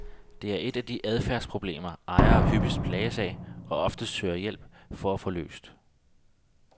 Det er et af de adfærdsproblemer, ejere hyppigst plages af og oftest søger hjælp til at få løst.